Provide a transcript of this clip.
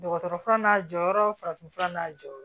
Dɔgɔtɔrɔ fura n'a jɔyɔrɔ farafinfura n'a jɔyɔrɔ